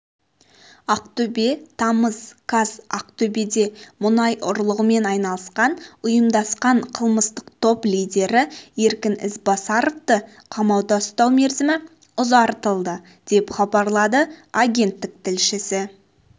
ақтөбе тамыз қаз ақтөбеде мұнай ұрлығымен айналысқан ұйымдасқан қылмыстық топ лидері еркін ізбасаровты қамауда ұстау мерзімі ұзартылды деп хабарлады агенттік тілшісі